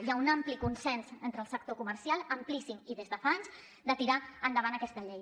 hi ha un ampli consens entre el sector comercial amplíssim i des de fa anys de tirar endavant aquesta llei